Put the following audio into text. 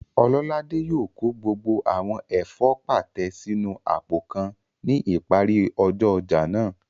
Ọlọ́ládé yóò kó gbogbo àwọn ẹ̀fọ́ pàtẹ sínu àpò kan ní ìparí ọjọ́ ọjà náà